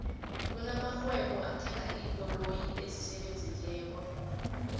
kuna marhwebo ethanga iinkoloyi esisebenzileko